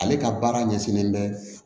Ale ka baara ɲɛsinnen bɛ